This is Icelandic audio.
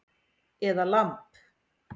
Eða lamb